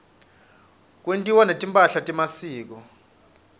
kwentiwa netimpahla temasiko